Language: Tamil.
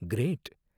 கிரேட்!